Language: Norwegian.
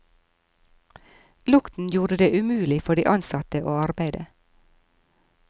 Lukten gjorde det umulig for de ansatte å arbeide.